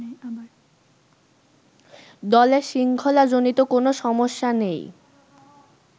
দলে শৃঙ্খলাজনিত কোনো সমস্যা নেই